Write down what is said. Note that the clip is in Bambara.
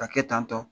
Ka kɛ tan tɔ